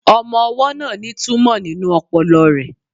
Ọmọ-ọwọ́ náà ní túmọ̀ nínú ọpọlọ rẹ̀